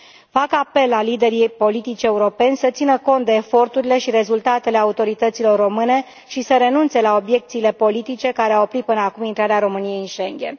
Fac apel la liderii politici europeni să țină cont de eforturile și rezultatele autorităților române și să renunțe la obiecțiile politice care au oprit până acum intrarea României în Schengen.